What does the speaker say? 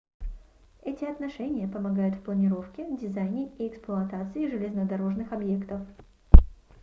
эти отношения помогают в планировке дизайне и эксплуатации железнодорожных объектов